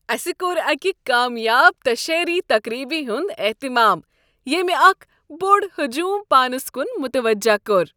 اسہ کوٚر اکہِ کامیاب تشہیری تقریبہ ہنٛد اہتمام ییٚمہِ اکھ بوٚڑ ہجوم پانس کن متوجہ کوٚر۔